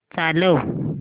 चालव